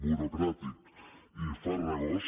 burocràtic i farragós